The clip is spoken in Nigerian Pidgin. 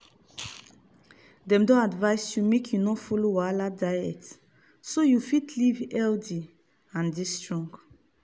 dem don advise you make you no follow wahala diet so you fit live healthy dey strong.